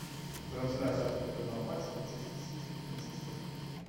трансляция футбольного матча манчестер сити и манчестер